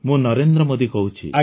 ମୁଁ ନରେନ୍ଦ୍ର ମୋଦୀ କହୁଛି